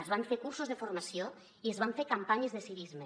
es van fer cursos de formació i es van fer campanyes de civisme